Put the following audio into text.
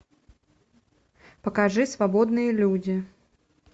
покажи свободные люди